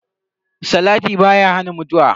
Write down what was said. Salati baya hana mutuwa.